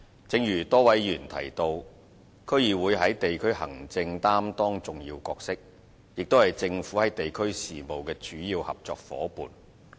正如多位議員提到，區議會在地區行政擔當重要角色，也是政府在地區事務的主要合作夥伴。